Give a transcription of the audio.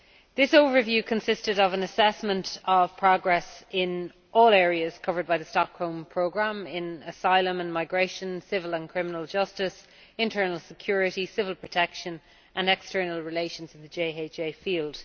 This overview consisted of an assessment of progress in all areas covered by the Stockholm Programme asylum and migration, civil and criminal justice, internal security, civil protection and external relations in the JHA field.